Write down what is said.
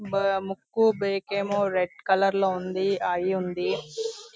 ముక్కు బేకె ఏమో రెడ్ కలర్ లో ఉంది. ఐ ఉంది.